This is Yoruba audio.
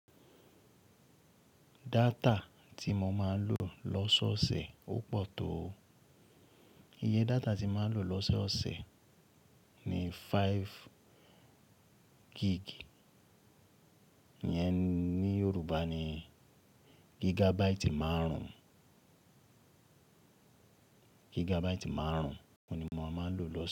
Data tí mo máa ń lò lọ́sọ́ọ̀ọ̀sẹ̀ ó pọ̀ tó o. Iye data tí máa ń lò lọ́sọ́ọ̀ọ̀sẹ̀ ni five gig. Yẹn ní Yorùbá ni gigabyte márùn-ún, gigabyte márùn-ún oun ni mo máa ń lò lọ́sọ́ọ̀